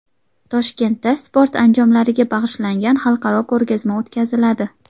Toshkentda sport anjomlariga bag‘ishlangan xalqaro ko‘rgazma o‘tkaziladi.